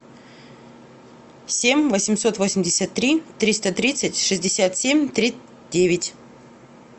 семь восемьсот восемьдесят три триста тридцать шестьдесят семь три девять